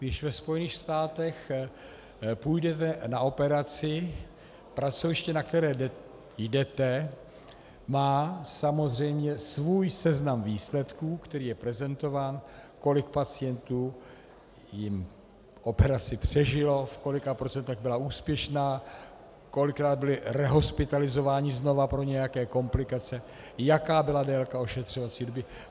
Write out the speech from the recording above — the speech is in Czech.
Když ve Spojených státech půjdete na operaci, pracoviště, na které jdete, má samozřejmě svůj seznam výsledků, který je prezentován, kolik pacientů jim operaci přežilo, v kolika procentech byla úspěšná, kolikrát byli rehospitalizováni znovu pro nějaké komplikace, jaká byla délka ošetřovací doby.